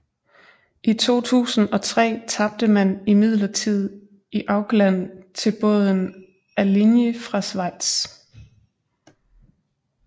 I 2003 tabte man imidlertid i Aukland til båden Alinghi fra Schweiz